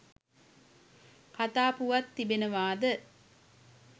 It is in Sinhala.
කතා පුවත් තිබෙනවාද?